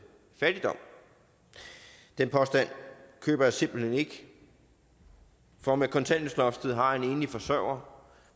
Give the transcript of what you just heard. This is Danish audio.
fattigdom den påstand køber jeg simpelt ikke for med kontanthjælpsloftet har en enlig forsørger